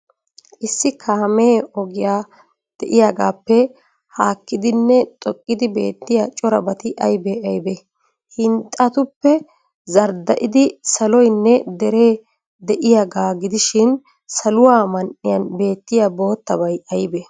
Issi kaame ogee de'iyaagaappe haakkidinne xoqqidi beettiya corabati aybee aybee? Hinxxatuppee zardda'idi saloynne deree de'iyaagaa gidishin, saluwa man''iyan beettiya boottabay aybee?